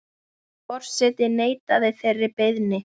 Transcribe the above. Forseti neitaði þeirri beiðni.